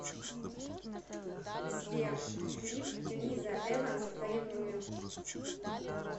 сбер клип лиза эванс ревную